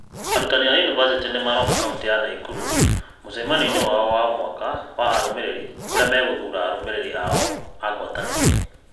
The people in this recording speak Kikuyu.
Arutani a university ũmũthĩ nĩ maroka ka ũntĩ ya Naikuru kwa mũcemanio wao wa o mwaka wa arũmĩrĩri kũrĩa megũthuura arũmĩrĩri ao a ngwatanĩro.